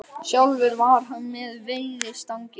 Sjálfur var hann með veiðistangir og þeir frændur báðir.